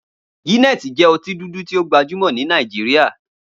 Guinness jẹ́ ọtí dúdú tí ó gbajúmọ̀ ní Nàìjíríà.